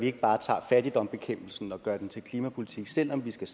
ikke bare tager fattigdomsbekæmpelsen og gør den til klimapolitik selv om vi skal